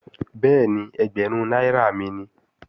Bẹ́ẹ̀ni, ẹgbẹ̀rún náírà mi nìí